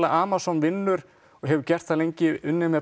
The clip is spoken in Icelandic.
Amazon vinnur og hefur gert það lengi unnið með